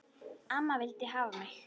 Amma vildi hafa mig.